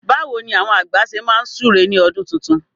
Báwo ni àwọn àgbà ṣe máa súre ní ọdún tuntun?